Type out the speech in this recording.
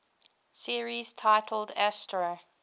series titled astro